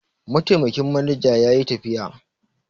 Mataimakin manaja ya yi tafiya.